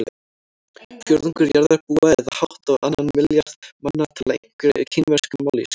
Fjórðungur jarðarbúa eða hátt á annan milljarð manna tala einhverja kínverska mállýsku.